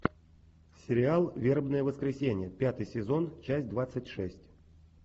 сериал вербное воскресенье пятый сезон часть двадцать шесть